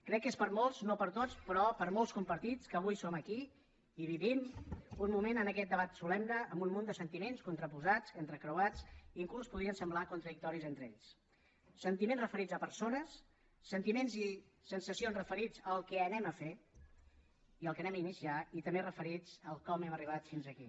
crec que és per a molts no per a tots però per a molts compartit que avui som aquí i vivim un moment en aquest debat solemne amb un munt de sentiments contraposats entrecreuats fins i tot podrien semblar contradictoris entre ells sentiments referits a persones sentiments i sensacions referits al que farem i al que iniciarem i també referits al com hem arribat fins aquí